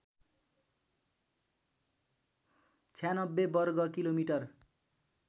९६ वर्ग किलोमिटर